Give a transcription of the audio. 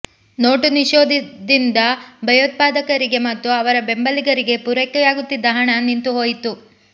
note ನಿಷೇಧದಿಂದ ಭಯೋತ್ಪಾದಕರಿಗೆ ಮತ್ತು ಅವರ ಬೆಂಬಲಿಗರಿಗೆ ಪೂರೈಕೆಯಾಗುತ್ತಿದ್ದ ಹಣ ನಿಂತು ಹೋಯಿತು